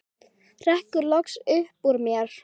hrekkur loks upp úr mér.